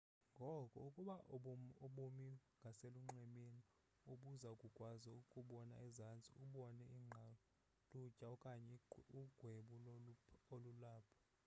ngoko ukuba ubumi ngaselunxwemeni ubuza kukwazi ukubona ezantsi ubone iingqalutya okanye ugwebu olulapho